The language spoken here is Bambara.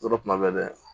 Yɔrɔ kuma bɛɛ